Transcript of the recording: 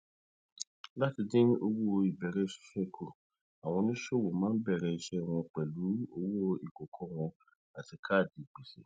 láti dín owó ìbẹrẹ ṣíṣe kù àwọn oníṣòwò máa ń bẹrẹ iṣẹ wọn pẹlú owó ìkòkò wọn àti kaadi gbèsè